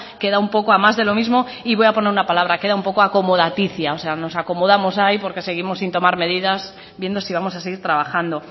queda un poco a más de lo mismo y voy a poner una palabra queda un poco acomodaticia o sea nos acomodamos ahí porque seguimos sin tomar medidas viendo si vamos a seguir trabajando